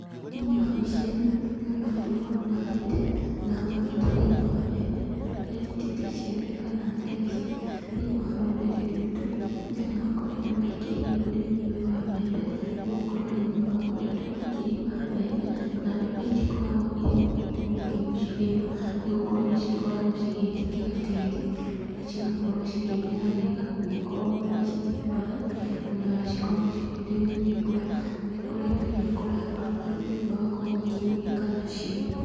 Thĩiniĩ wa mbica ĩno, ndĩrona mũndũ arũgamĩte, na arũgamĩte thĩiniĩ wa mbembe. Harĩa anyitĩte icembe kana theci. Thĩiniĩ wa rũrĩrĩ rwitũ, andũ nĩ makoretwo mekĩrĩire ũrĩmi ũyũ wa mbembe, nĩ gũkorwo arĩmi nĩ makoretwo makĩrĩma mbembe, na mbembe itikoragwo irĩ na ũritũ mũingĩ gũcirĩma. Nĩ gũkorwo nĩ cikoragwo cigĩtĩkĩra tĩri, ona cigakorwo cikĩmera wega ũngĩkorwo nĩ ũracihe maĩ, ona cikorwo cikĩurĩrwo nĩ mbura. Nĩ ikoretwo igĩkũra ona arĩmi magakorwo makĩgunĩka nacio.